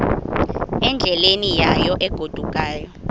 endleleni yayo egodukayo